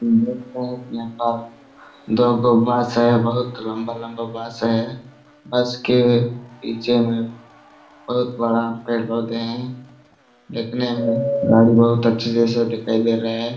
. दो गो बांस है। बहुत लम्बा - लम्बा बांस है। बांस के पीछे में बहुत बड़ा पेड़ पौधे है। देखने में गाड़ी बहुत अच्छा जैसा दिखाई दे रहे है।